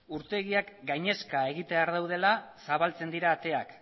urtegiak gainezka egitear daudela zabaltzen dira ateak